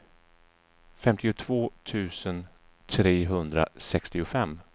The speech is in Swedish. femtiotvå tusen trehundrasextiofem